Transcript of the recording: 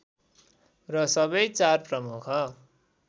र सबै चार प्रमुख